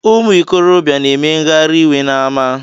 Ụmụ ikorobịa na-eme ngharaiwe n’ama